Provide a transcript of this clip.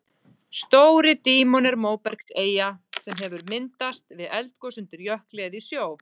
Stóri-Dímon er móbergseyja sem hefur myndast við eldgos undir jökli eða í sjó.